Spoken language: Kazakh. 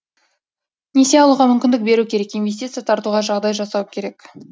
несие алуға мүмкіндік беру керек инвестиция тартуға жағдай жасау керек